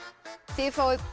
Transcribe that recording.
þið fáið